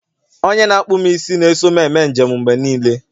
onye na-akpụ m isi na-eso m eme njem mgbe niile